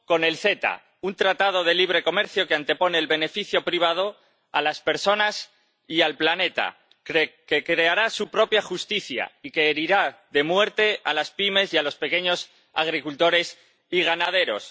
Con el CETA, un tratado de libre comercio que antepone el beneficio privado a las personas y al planeta, que creará su propia justicia y que herirá de muerte a las pymes y a los pequeños agricultores y ganaderos.